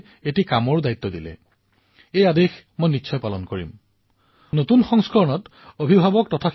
আপুনি যি কৈছে যদি মই নতুন সংস্কৰণৰ বাবে সময় পাও তেন্তে নিশ্চয়কৈ তাত অভিভাৱকৰ বাবে শিক্ষকৰ বাবেও কিবা এটা লিখাৰ প্ৰয়াস কৰিম